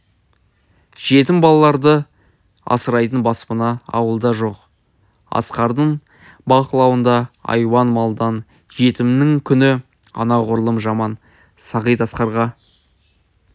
жетім балаларды асырайтын баспана ауылда жоқ асқардың бақылауында айуан малдан жетімнің күні анағұрлым жаман сағит асқарға